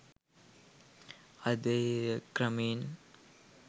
අද එය ක්‍රමයෙන්